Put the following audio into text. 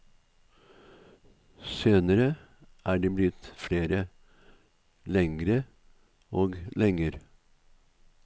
Senere er de blitt flere, lengre og lenger.